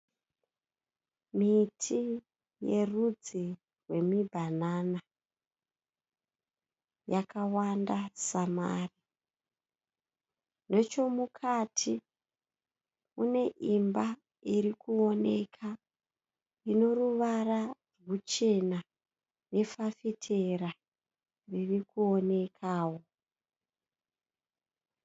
Miti yerudzi rwemi "banana" yakawanda samari .Nechemukati mune imba irikuwonekwa ineruvara ruchena nefafitera ririkuwonekwa wo.